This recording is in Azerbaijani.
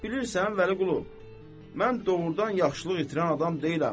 Bilirsən Vəliqulu, mən doğrudan yaxşılıq itirən adam deyiləm.